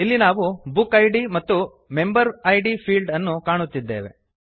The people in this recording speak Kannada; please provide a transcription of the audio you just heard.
ಇಲ್ಲಿ ನಾವು ಬುಕ್ ಇದ್ ಮತ್ತು ಮೆಂಬರ್ ಇದ್ ಫೀಲ್ಡ್ಸ್ ಅನ್ನು ಕಾಣುತ್ತಿದ್ದೇವೆ